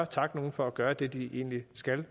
takke nogen for at gøre det de egentlig skal